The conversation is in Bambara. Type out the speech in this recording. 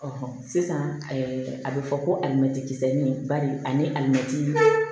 sisan a bɛ fɔ ko alimɛti kisɛ ni bari ani alimɛtiri